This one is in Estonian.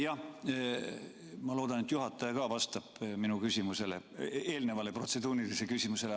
Jah, ma loodan, et juhataja ka vastab minu eelnevale protseduurilisele küsimusele.